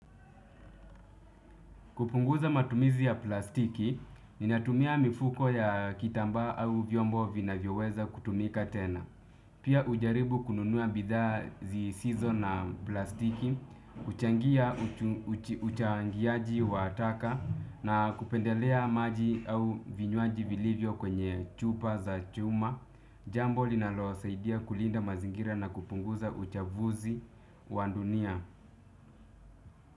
Kupunguza matumizi ya plastiki, ninatumia mifuko ya kitambaa au vyombo vinavyoweza kutumika tena. Pia hujaribu kununua bidhaa zisizo na plastiki, huchangia uchangiaji wa taka na kupendelea maji au vinywaji vilivyo kwenye chupa za chuma. Jambo linalosaidia kulinda mazingira na kupunguza uchafuzi wa dunia.